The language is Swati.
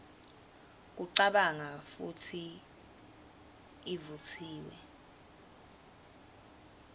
kucabanga futsi ivutsiwe